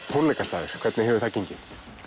tónleikastaður hvernig hefur það gengið